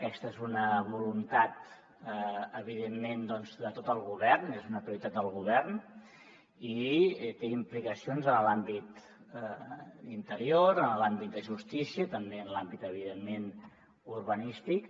aquesta és una voluntat evidentment de tot el govern és una prioritat del govern i té implicacions en l’àmbit d’interior en l’àmbit de justícia també en l’àmbit evidentment urbanístic